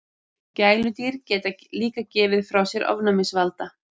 Gæludýr geta líka gefið frá sér ofnæmisvalda.